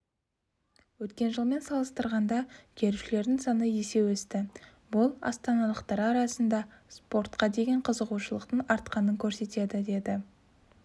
өткен жылмен салыстырғанда келушілердің саны есе өсті бұл астаналықтар арасында спортқа деген қызығушылықтың артқанын көрсетеді деді